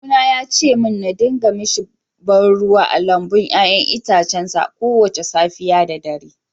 Kawuna ya ce min na dinga mishi ba ruwa a lambun 'ya'yan itacen sa kowace safiya da dare